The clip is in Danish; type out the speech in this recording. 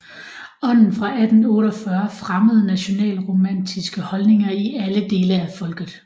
Ånden fra 1848 fremmede nationalromantiske holdninger i alle dele af folket